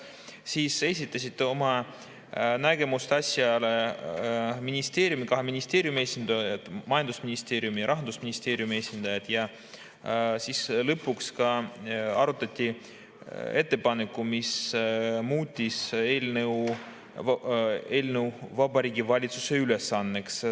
Siis esitasid oma nägemuse asjast kahe ministeeriumi, majandusministeeriumi ja Rahandusministeeriumi esindajad ja siis lõpuks arutati ettepanekut, mis muutis eelnõu Vabariigi Valitsuse ülesandeks.